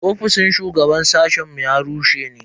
Ofishin shugaban sashen mu ya rushe ne.